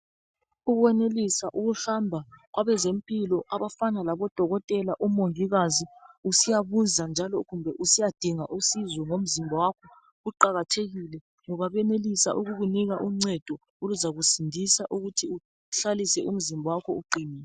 Ukwenelisa ukuhamba kwabezempilo abafana labo dokotela omongikazi usiyabuza kumbe njalo kumbe usiyadinga usizo ngomzimba kuqakathekile ngoba kwenelisa ukukunika uncedo oluzakusindisa ukuthi uhlalise umzimba wakho uqinile